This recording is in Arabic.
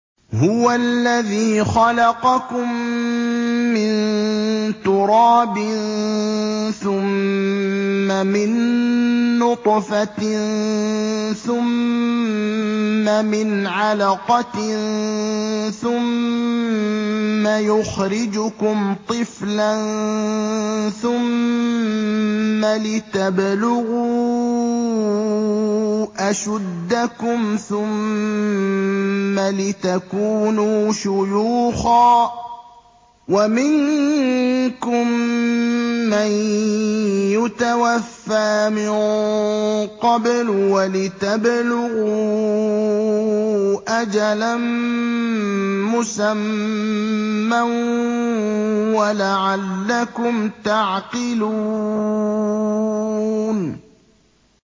هُوَ الَّذِي خَلَقَكُم مِّن تُرَابٍ ثُمَّ مِن نُّطْفَةٍ ثُمَّ مِنْ عَلَقَةٍ ثُمَّ يُخْرِجُكُمْ طِفْلًا ثُمَّ لِتَبْلُغُوا أَشُدَّكُمْ ثُمَّ لِتَكُونُوا شُيُوخًا ۚ وَمِنكُم مَّن يُتَوَفَّىٰ مِن قَبْلُ ۖ وَلِتَبْلُغُوا أَجَلًا مُّسَمًّى وَلَعَلَّكُمْ تَعْقِلُونَ